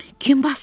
Kim basdırır?